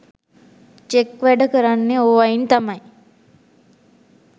Check වැඩ කරන්නෙ ඕවයින් තමයි.